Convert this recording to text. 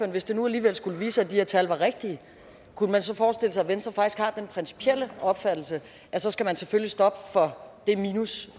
hvis det nu alligevel skulle vise sig at de her tal er rigtige kunne man så forestille sig at venstre faktisk har den principielle opfattelse at så skal man selvfølgelig stoppe for det minus